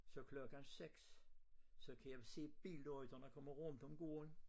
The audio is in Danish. Så klokken 6 så kan jeg se billygterne komme rundt om gården